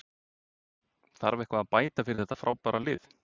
Þarf eitthvað að bæta við þetta frábæra lið?